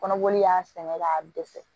Kɔnɔboli y'a sɛnɛ k'a dɛsɛ